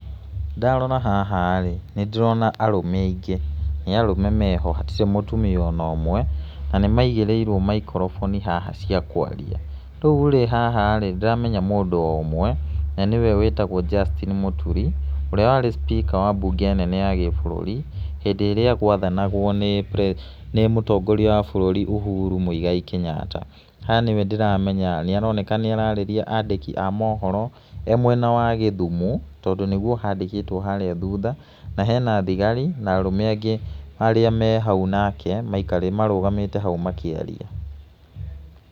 Ndarora haha rĩ, nĩ ndĩrona arũme aingĩ, nĩ arũme meho hatirĩ mũtumia ona ũmwe, na nĩ maigĩrĩirwo maikroboni haha cia kwaria. Rĩu rĩ haha rĩ ndĩramenya mũndũ o ũmwe, na nĩwe wĩtagwo Justine Muturi ũrĩa wari speaker wa mbunge nene ya gĩbũrũri hĩndĩ ĩrĩa gwathanagwo nĩ mũtongoria wa bũrũri Uhuru Mũigai Kenyatta. Haha nĩwe ndĩramenya, nĩ aoneka nĩ ararĩria andĩki a mohoro e mwena wa gĩthumo, tondũ nĩguo handĩkĩtwo harĩa thutha, na hena tigari na arũme angĩ arĩa me hau nake marũgamĩte hau makĩaria.